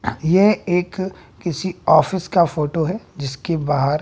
यह एक किसी ऑफिस का फोटो है जिसकी बाहर--